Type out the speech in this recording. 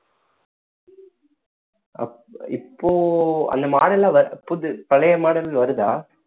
அப்~ இப்போ அந்த model ஆ வர்~ புது பழைய model வருதா